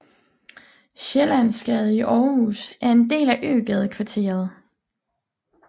Sjællandsgade i Aarhus er en del af Øgadekvarteret